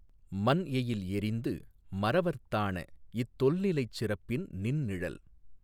மன்எயில் எறிந்து மறவர்த் தாணஇத் தொல்நிலைச் சிறப்பின் நின்நிழல்